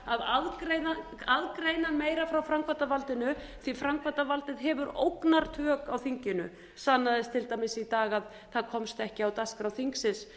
að aðgreina meira frá framkvæmdarvaldinu því framkvæmdarvaldið hefur ógnartök á þinginu sannaðist til dæmis í dag að það komst ekki á dagskrá þingsins